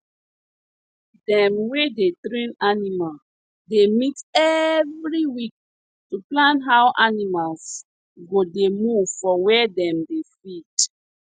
dem wey dey train animal dey meet every week to plan how animals go dey move for where dem dey feed